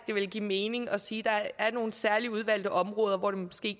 det ville give mening at sige at der er nogle særligt udvalgte områder hvor det måske